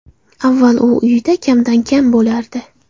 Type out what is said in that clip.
Avval u uyida kamdan kam bo‘lardi.